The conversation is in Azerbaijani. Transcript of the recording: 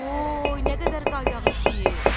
Voy, nə qədər qar yağıb ki,